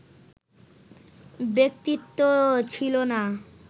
ব্যক্তিত্ব ছিল না